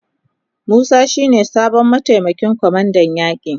Musa shi ne sabon mataimakin kwamandan yaki.